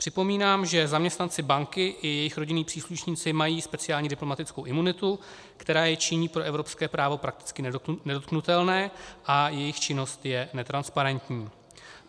Připomínám, že zaměstnanci banky i jejich rodinní příslušníci mají speciální diplomatickou imunitu, která je činí pro evropské právo prakticky nedotknutelné, a jejich činnost je netransparentní.